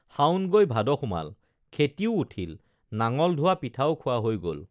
শাওণ হৈ ভাদ সুমাল খেতিও উঠিল নাঙল ধোৱা পিঠাও খোৱা হৈ গল